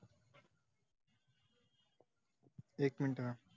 एक मिनिट हां.